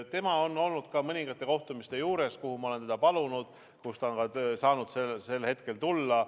Tema on olnud mõningate kohtumiste juures, kuhu ma olen teda palunud ja kuhu ta on saanud sel hetkel tulla.